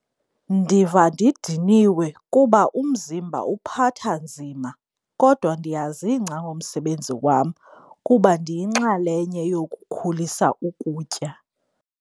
Ndiva ndidiniwe kuba umzimba uphatha nzima kodwa ndiyazingca ngomsebenzi wam kuba ndiyinxalenye yokukhulisa ukutya.